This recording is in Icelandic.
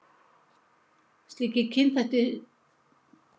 Slíkir kynþættir finnast víða í Mið-Afríku og Ástralíu.